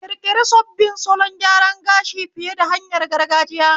Ƙirƙiri sabbin salon gyaran gashi fiye da hanyar gargajiya.